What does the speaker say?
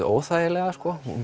óþægilega